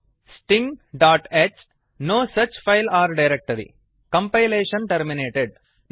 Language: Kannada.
stingh no such file or directory sting dot H no such file or directory compilation terminatedಕಂಪೈಲೇಶನ್ ಟರ್ಮಿನೇಟೆಡ್